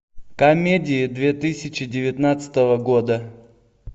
комедии две тысячи девятнадцатого года